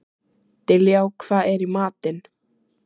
Diljá, hvað er í matinn?